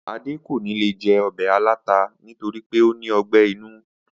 Adé kò ní lè je̩ o̩bè̩ aláta nítorí pé ó ní o̩gbé̩ inú